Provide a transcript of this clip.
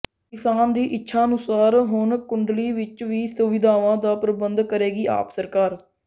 ਕਿਸਾਨ ਦੀ ਇੱਛਾ ਅਨੁਸਾਰ ਹੁਣ ਕੁੰਡਲੀ ਵਿਚ ਵੀ ਸੁਵਿਧਾਵਾਂ ਦਾ ਪ੍ਰਬੰਧ ਕਰੇਗੀ ਆਪ ਸਰਕਾਰ